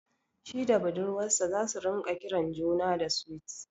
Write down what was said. Shi da budurwar sa zasu ringa kiran juna da "Sweet".